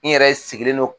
N yɛrɛ sigilen don